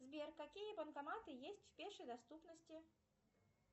сбер какие банкоматы есть в пешей доступности